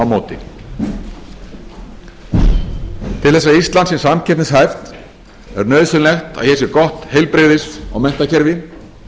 móti til þess að ísland sé samkeppnishæft er nauðsynlegt að hér sé gott heilbrigðis og menntakerfi